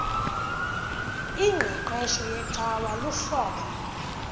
ingqeqesho yecawa luhlobo